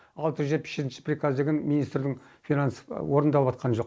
алты жүз жетпіс жетінші приказ деген министрдің финанс орындалып жатқан жоқ